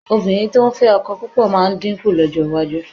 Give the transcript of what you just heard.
Obìnrin tó ń fẹ́ ọkọ púpọ̀ máa dínkù lọ́jọ́ iwájú